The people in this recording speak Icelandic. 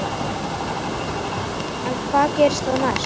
En hvað gerist þá næst?